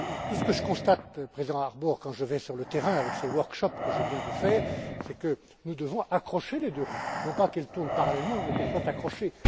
Ce que je constate, président Harbour, quand je vais sur le terrain, avec ces ateliers que je viens de faire, c'est que nous devons accrocher les deux roues afin, non pas qu'elles tournent parallèlement, mais qu'elles soient accrochées.